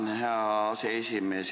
Tänan, hea aseesimees!